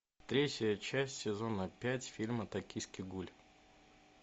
третья часть сезона пять фильма токийский гуль